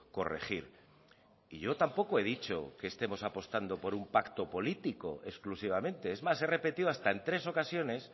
corregir y yo tampoco he dicho que estemos apostando por un pacto político exclusivamente es más he repetido hasta en tres ocasiones